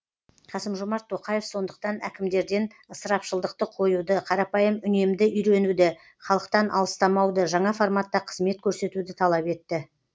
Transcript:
қасым жомарт тоқаев сондықтан әкімдерден ысырапшылдықты қоюды қарапайым үнемді үйренуді халықтан алыстамауды жаңа форматта қызмет көрсетуді талап етті